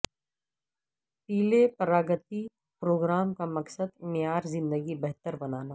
پلے Pragati program کا مقصد معیار زندگی بہتر بنانا